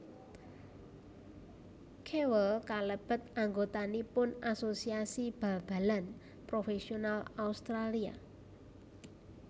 Kewell kalebet anggotanipun Asosiasi Bal balan Profesional Australia